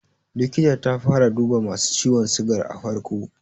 Likitar ta fara duba masu ciwon sigar a farko.